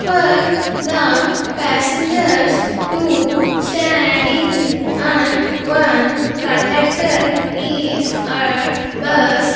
For the passengers to standing on one conductor is at bus --